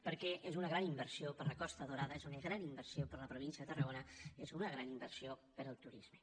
perquè és una gran inversió per a la costa daurada és una gran inversió per a la província de tarragona és una gran inversió per al turisme